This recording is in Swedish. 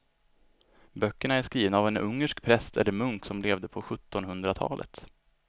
Böckerna är skrivna av en ungersk präst eller munk som levde på sjuttonhundratalet.